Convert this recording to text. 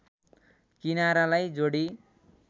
किनारालाई जोडी